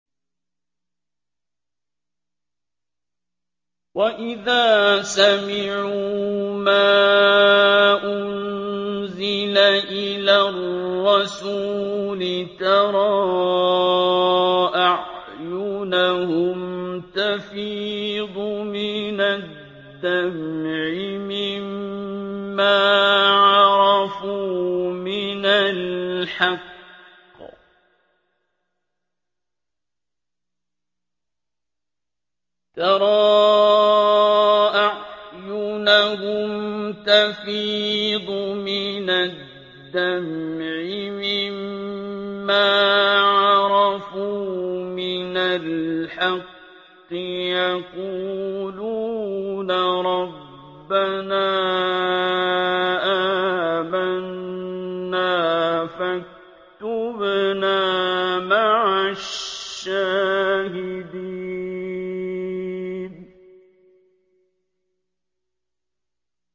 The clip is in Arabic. وَإِذَا سَمِعُوا مَا أُنزِلَ إِلَى الرَّسُولِ تَرَىٰ أَعْيُنَهُمْ تَفِيضُ مِنَ الدَّمْعِ مِمَّا عَرَفُوا مِنَ الْحَقِّ ۖ يَقُولُونَ رَبَّنَا آمَنَّا فَاكْتُبْنَا مَعَ الشَّاهِدِينَ